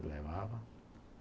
Ele levava.